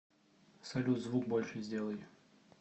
салют звук больше сделай